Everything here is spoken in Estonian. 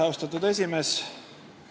Austatud esimees!